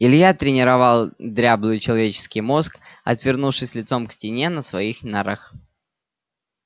илья тренировал дряблый человеческий мозг отвернувшись лицом к стене на своих нарах